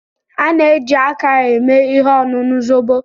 A na-eji aka eme ihe ọṅụṅụ zobo.